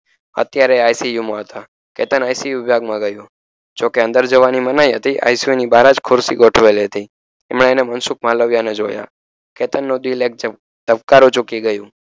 અત્યારે ICU હતા Ketan ICU વિભાગમાં ગ્યો જોકે અંદર જવાની મનાઈ હતી ICU બહાર જ ખુરશી ગોઠવેલી હતી એમાં એણે મનસુખ માલવિયા ને જોયા કેતન નું દિલ ધબકારો ચૂકી ગયું